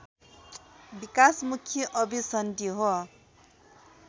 विकासमुखी अभिसन्धि हो